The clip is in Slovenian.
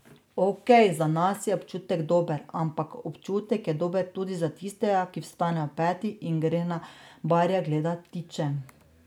Okej, za nas je občutek dober, ampak občutek je dober tudi za tistega, ki vstane ob petih in gre na Barje gledat ptiče.